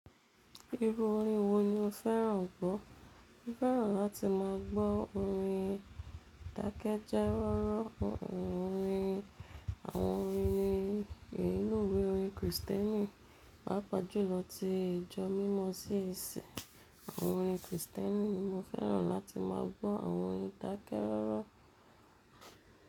Irú orin wo ni o fẹ́ràn gbọ́? Mo fẹ́ràn láti máa gbọ́ orin dákẹ́jọ́rorọ́, àwọn orin inú ìwé orin Kristẹni, pàápàá jùlọ ti ìjọ mímọ CAC àwọn orin Kristẹni. Mo fẹ́ràn láti má a gbọ́ àwọn orin dákẹ́jọ́rọ́.